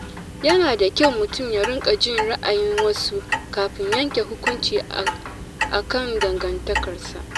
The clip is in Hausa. Yana da kyau mutum ya riƙa jin ra’ayin wasu, kafin yanke hukunci akan dangantakarsa.